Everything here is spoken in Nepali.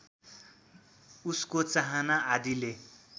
उसको चाहना आदिले